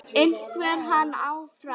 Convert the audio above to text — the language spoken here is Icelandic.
En verður hann áfram?